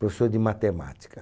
Professor de matemática.